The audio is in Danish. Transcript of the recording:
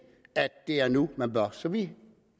at det er nu at man bør gøre så vi